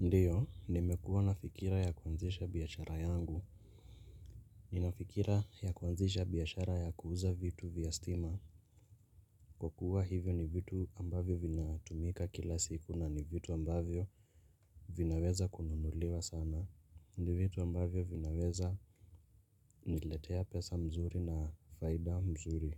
Ndiyo, nimekuwa na fikira ya kuanzisha biashara yangu. Nina fikira ya kuanzisha biashara ya kuuza vitu vya stima. Kwa kuwa hivyo ni vitu ambavyo vinatumika kila siku na ni vitu ambavyo vinaweza kununuliwa sana. Ni vitu ambavyo vinaweza niletea pesa mzuri na faida mzuri.